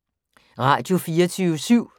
Radio24syv